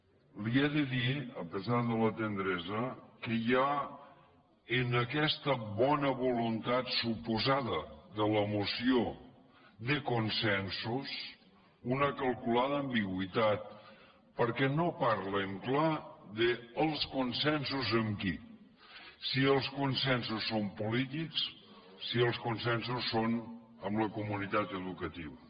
li he de dir a pesar de la tendresa que hi ha en aquesta bona voluntat suposada de la moció de consensos una calculada ambigüitat perquè no parlen clar dels con sensos amb qui si els consensos són polítics si els con sensos són amb la comunitat educativa